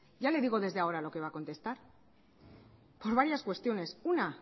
ya le digo desde ahora lo que va a contestar por varias cuestiones una